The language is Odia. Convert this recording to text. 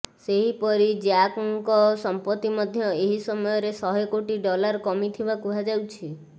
ସେହିପରି ଜ୍ୟାକ୍ଙ୍କ ସମ୍ପତ୍ତି ମଧ୍ୟ ଏହି ସମୟରେ ଶହେ କୋଟି ଡଲାର କମିଥିବା କୁହାଯାଉଛି